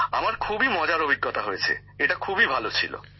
আমার খুবই মজার অভিজ্ঞতা হয়েছে এটা খুবই ভালো ছিল